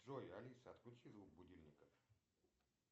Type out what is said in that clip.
джой алиса отключи звук будильника